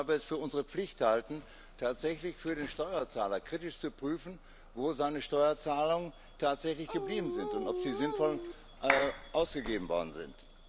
Wir tun es, weil wir es für unsere Pflicht halten, tatsächlich für den Steuerzahler kritisch zu prüfen, wo seine Steuerzahlungen tatsächlich geblieben sind und ob sie sinnvoll ausgegeben worden sind.